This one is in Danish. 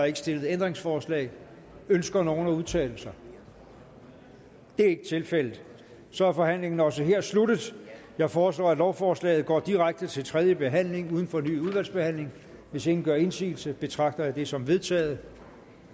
ikke stillet ændringsforslag ønsker nogen at udtale sig det er ikke tilfældet og så er forhandlingen også her sluttet jeg foreslår at lovforslaget går direkte til tredje behandling uden fornyet udvalgsbehandling hvis ingen gør indsigelse betragter jeg det som vedtaget